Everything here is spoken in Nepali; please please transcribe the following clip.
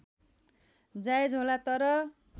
जायज होला तर